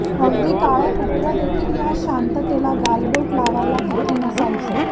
अगदी काळं कुत्रं देखील या शांततेला गालबोट लावायला तिथं नसायचं